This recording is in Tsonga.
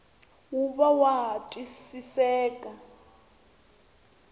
wu va wa ha twisiseka